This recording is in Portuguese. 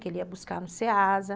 Que ele ia buscar no Seasa.